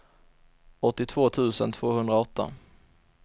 åttiotvå tusen tvåhundraåtta